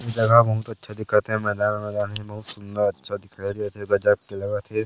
जगह बहुत अच्छा दिखत हे मैदान वैदान हे बहुत सुंदर अच्छा दिखाई देत हे गजब के लगत हे।